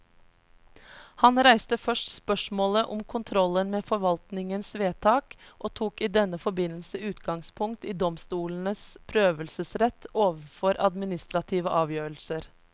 Han reiste først spørsmålet om kontrollen med forvaltningens vedtak, og tok i denne forbindelse utgangspunkt i domstolenes prøvelsesrett overfor administrative avgjørelser.